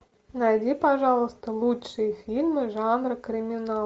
найди пожалуйста лучшие фильмы жанра криминал